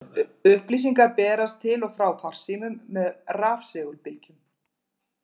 Upplýsingar berast til og frá farsímum með rafsegulbylgjum.